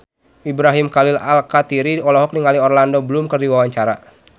Ibrahim Khalil Alkatiri olohok ningali Orlando Bloom keur diwawancara